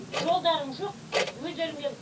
жолдарың жоқ өздерің келің